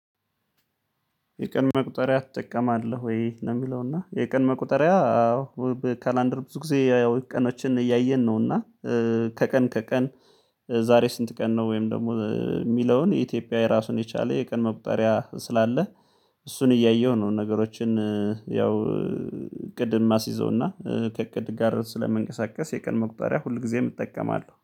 የቀን መቁጠሪያ ትጠቀማለህ ወይ? ነው የሚለው እና የቀን መቁጠሪያ አዎ በካላንደር ብዙ ጊዜ ያው ቀኖችን እያየን ነው እና ከቀን ከቀን ዛሬ ስንት ቀን ነው ወይም ደግሞ የሚለውን የኢትዮጵያ ራሱን የቻለ የቀን መቁጠሪያ ስላለ እሱን እያየሁ ነው ነገሮችን ያው እቅድን ማስይዘውና ከእቅድ ጋር ስለምንቀሳቀስ የቀን መቁጠሪያ ሁል ጊዜም እጠቀማለሁ